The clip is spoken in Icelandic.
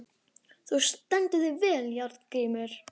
Þú stendur þig vel, Járngrímur!